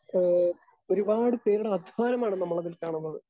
Speaker 2 ഏഹ് ഒരുപാട് പേരുടെ അധ്വാനമാണ് നമ്മളതിൽ കാണുന്നത്.